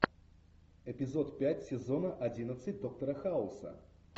эпизод пять сезона одиннадцать доктора хауса